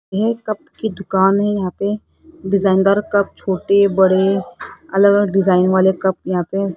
ये कप की दुकान है यहां पे डिजाइन दार कप छोटे बड़े अलग अलग डिजाइन वाले कप यहां पे--